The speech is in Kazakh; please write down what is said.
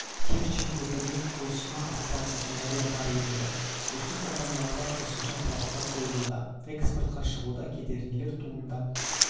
керчен көпірінің құрылысана атсалысатындары да бар енді осы компанияларға қосымша талаптар қойылуда экспортқа шығуда кедергілер туындап